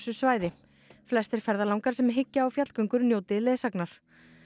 svæði flestir ferðalangar sem hyggja á fjallgöngur njóti leiðsagnar